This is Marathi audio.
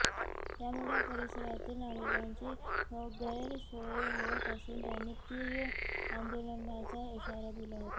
त्यामुळे या परिसरातील नागरिकांची गैरसोय होत असून त्यांनी तीव्र आंदोलनाचा इशारा दिला आहे